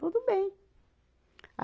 Tudo bem.